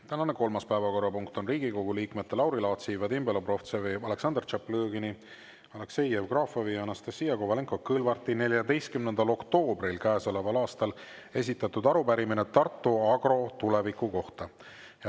Tänane kolmas päevakorrapunkt on Riigikogu liikmete Lauri Laatsi, Vadim Belobrovtsevi, Aleksandr Tšaplõgini, Aleksei Jevgrafovi ja Anastassia Kovalenko-Kõlvarti 14. oktoobril käesoleval aastal esitatud arupärimine Tartu Agro tuleviku kohta.